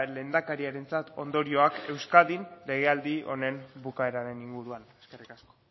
lehendakariarentzat ondorioak euskadin legealdi honen bukaeraren inguruan eskerrik asko